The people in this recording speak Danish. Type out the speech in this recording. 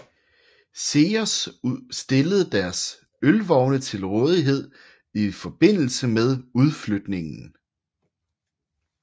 Ceres stillede deres ølvogne til rådighed i forbindelse med udflytningen